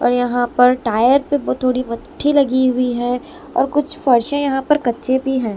और यहां पर टायर पे वो थोड़ी मट्ठी लगी हुई है और कुछ फर्शे यहां पर कच्चे भी हैं।